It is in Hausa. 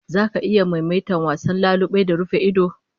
Zaka iya maimaita wasan lalube da rufa-ido?